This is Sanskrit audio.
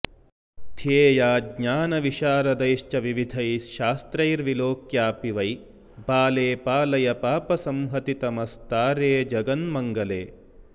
ध्येया ज्ञानविशारदैश्च विविधैः शास्त्रैर्विलोक्यापि वै बाले पालय पापसंहतितमस्तारे जगन्मङ्गले